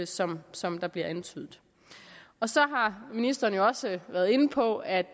som som der bliver antydet så har ministeren jo også været inde på at